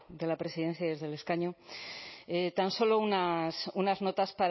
de la presidencia y desde el escaño tan solo unas notas